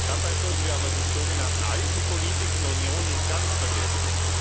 Dabei sollten wir aber die sogenannten alten Politiken der Union nicht ganz vergessen.